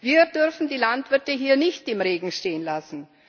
Wir dürfen die Landwirte hier nicht im Regen stehen lassen.